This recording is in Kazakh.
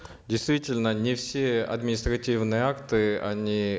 действительно не все административные акты они